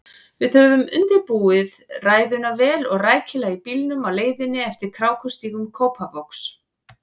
Við höfðum undirbúið ræðuna vel og rækilega í bílnum á leiðinni eftir krákustígum Kópavogs.